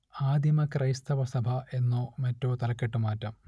ആദിമ ക്രൈസ്തവ സഭ എന്നോ മറ്റോ തലക്കെട്ട് മാറ്റാം